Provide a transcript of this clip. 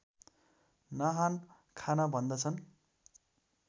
नहान खान भन्दछन्